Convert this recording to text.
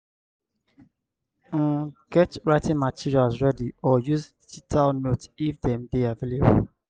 um get writing materials ready or use digital notes if dem dey available